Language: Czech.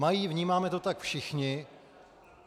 Mají, vnímáme to tak všichni.